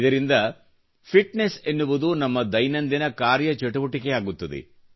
ಇದರಿಂದ ಫಿಟ್ನೆಸ್ ಎನ್ನುವುದು ನಮ್ಮ ದೈನಂದಿನ ಕಾರ್ಯಚಟುವಟಿಕೆಯಾಗುತ್ತದೆ